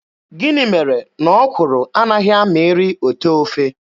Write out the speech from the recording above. Gịnị mere na ọkwụrụ anaghị amịrị otee ofe.